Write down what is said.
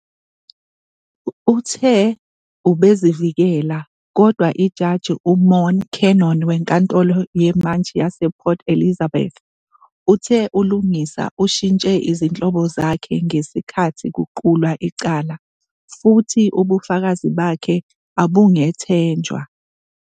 Uthe ubezivikela kodwa iJaji uMorne Cannon weNkantolo yeMantshi yasePort Elizabeth, uthe uLungisa ushintshe izinhlobo zakhe ngesikhathi kuqulwa icala futhi ubufakazi bakhe abungethenjwa.